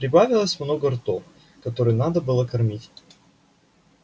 прибавилось много ртов которые надо было кормить